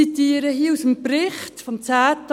Ich zitiere hier aus dem Bericht vom 10. Oktober.